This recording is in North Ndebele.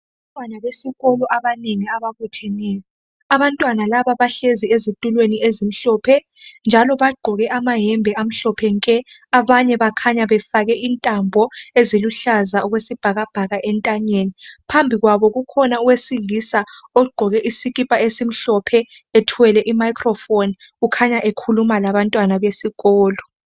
Abantwana besikolo abanengi ababutheneyo. Abantwana laba bahlezi ezitulweni ezimhlope njalo bagqoke amahembe amhlophe nke, abanye bakhanya befake intambo eziluhlaza okwesbhakabhaka entanyeni. Phambi kwabo ukhona owesilisa ogqoke isikipa esimhlophe ethwele imayikrofoni. Kukhanya ekhuluma labantwana besikolo.